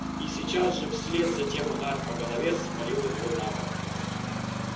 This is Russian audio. и сейчас же вслед за тем удар по голове свалил его на бок